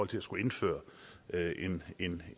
til at skulle indføre en